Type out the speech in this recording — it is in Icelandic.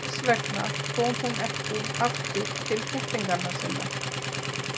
Þess vegna kom hún ekki aftur til kettlinganna sinna.